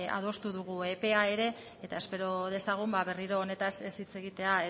adostu dugu epea ere eta espero dezagun ba berriro honetaz ez hitz egitea